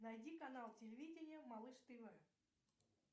найди канал телевидения малыш тв